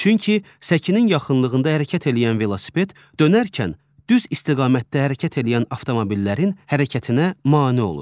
Çünki səkinin yaxınlığında hərəkət eləyən velosiped dönərkən düz istiqamətdə hərəkət eləyən avtomobillərin hərəkətinə mane olur.